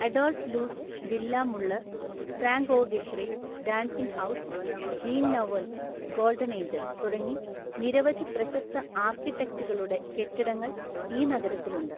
Adolf Loos (Villa Muller), Frank O Gehry (Dancing House), Jean Nouvel (Golden Angel) തുടങ്ങി നിരവധി പ്രശസ്ത ആർക്കിടെക്ടുകളുടെ കെട്ടിടങ്ങൾ ഈ നഗരത്തിലുണ്ട്.